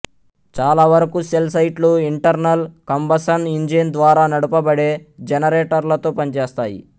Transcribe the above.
చాలా వరుకు సెల్ సైట్లు ఇంటర్నల్ కంబసన్ ఇంజిన్ ద్వారా నడపబడే జెనరేటర్లతో పనిచేస్తాయి